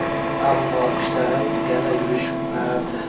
Ammo ishlarim yana yurishmadi.